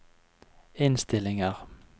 innstillinger